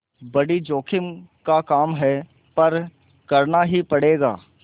बड़ी जोखिम का काम है पर करना ही पड़ेगा